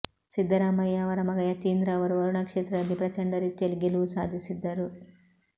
ಸಿದ್ದರಾಮಯ್ಯ ಅವರ ಮಗ ಯತೀಂದ್ರ ಅವರು ವರುಣಾ ಕ್ಷೇತ್ರದಲ್ಲಿ ಪ್ರಚಂಡ ರೀತಿಯಲ್ಲಿ ಗೆಲುವು ಸಾಧಿಸಿದ್ದರು